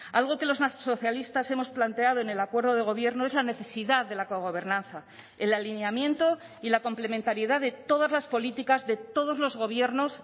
algo que los socialistas hemos planteado en el acuerdo de gobierno es la necesidad de la cogobernanza el alineamiento y la complementariedad de todas las políticas de todos los gobiernos